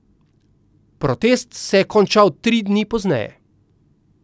Protest se je končal tri dni pozneje.